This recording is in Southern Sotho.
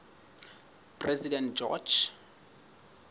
president george